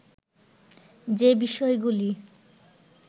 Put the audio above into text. যে বিষয়গুলি